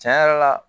Tiɲɛ yɛrɛ la